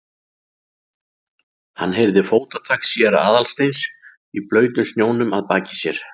Hann heyrði fótatak séra Aðalsteins í blautum snjónum að baki sér.